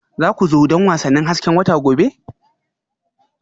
Za ku zo don wasannin hasken wata gobe?